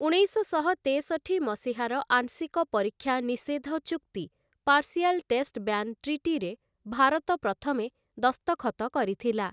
ଉଣେଇଶଶହ ତେଷଠି ମସିହାର ଆଂଶିକ ପରୀକ୍ଷା ନିଷେଧ ଚୁକ୍ତି 'ପାର୍ଶିଆଲ୍ ଟେଷ୍ଟ ବ୍ୟାନ୍‌ ଟ୍ରିଟି' ରେ ଭାରତ ପ୍ରଥମେ ଦସ୍ତଖତ କରିଥିଲା ।